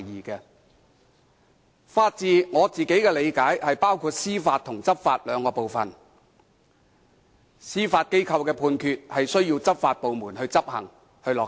據我理解，法治包括司法和執法兩部分，司法機構的判決需要執法部門執行和落實。